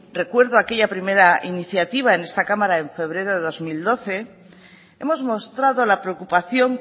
recuerdo aquella primera iniciativa en esta cámara en febrero del dos mil doce hemos mostrado la preocupación